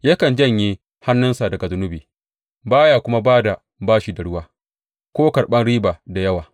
Yakan janye hannunsa daga zunubi ba ya kuma ba da bashi da ruwa ko karɓan riba da yawa.